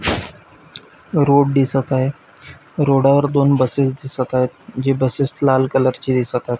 Road दिसत आहे रोडावर दोन बसेस दिसत आहेत. जे बसेस लाल कलर चे दिसत आहेत.